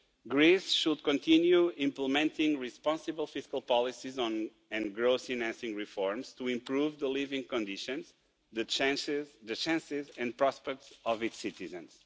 Greece should continue implementing responsible fiscal policies and growth-enacting reforms to improve the living conditions and the chances and prospects of its citizens.